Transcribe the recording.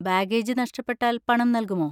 Baggage നഷ്ടപ്പെട്ടാൽ പണം നൽകുമോ?